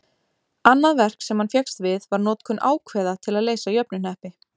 Annað verk sem hann fékkst við var notkun ákveða til að leysa jöfnuhneppi.